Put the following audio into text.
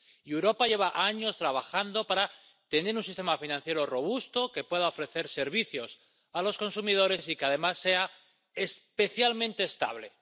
Europa lleva años trabajando para tener un sistema financiero robusto que pueda ofrecer servicios a los consumidores y que además sea especialmente estable.